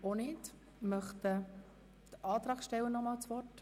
Wünscht der Antragsteller noch einmal das Wort?